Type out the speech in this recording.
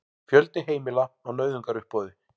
Fjöldi heimila á nauðungaruppboði